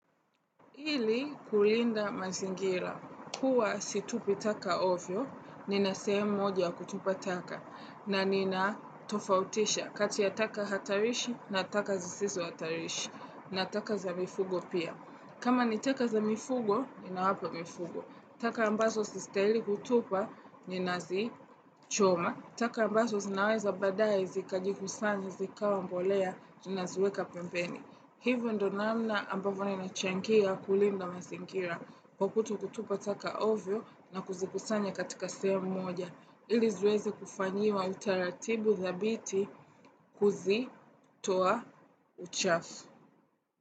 Ili kulinda mazingira. Huwa situpi taka ovyo, nina sehemu moja ya kutupa taka. Na nina tofautisha kati ya taka hatarishi na taka zisizo hatarishi. Na taka za mifugo pia. Kama ni taka za mifugo, ninawapa mifugo. Taka ambazo si stahili kutupa, ninazi choma. Taka ambazo zinaweza badae zikajikusanya zikawa mbolea, nina ziweka pembeni. Hivo ndo namna ambavyo nimechangia kulinda mazingira kukuto kutupa taka ovyo na kuzikusanya katika segemu mmoja. Ili ziweze kufanyiwa utaratibu dhabiti kuzi, toa, uchafu.